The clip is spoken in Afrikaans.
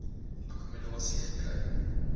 akkommo dasie gekry